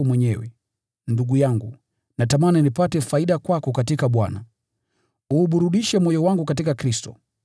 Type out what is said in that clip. Ndugu yangu, natamani nipate faida kwako katika Bwana, uuburudishe moyo wangu katika Kristo.